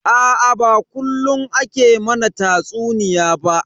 Aa ba kullun ake mana tatsuniya ba.